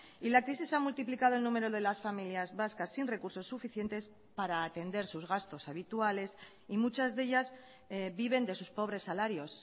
y la crisis ha multiplicado el número de las familias vascas sin recursos suficientes para atender sus gastos habituales y muchas de ellas viven de sus pobres salarios